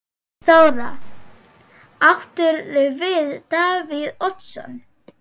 Þóra: Áttirðu við Davíð Oddsson?